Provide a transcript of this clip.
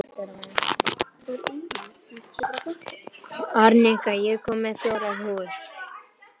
Arnika, ég kom með fjórar húfur!